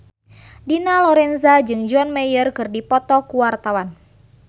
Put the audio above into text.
Dina Lorenza jeung John Mayer keur dipoto ku wartawan